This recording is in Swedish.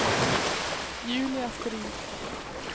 Julia Strid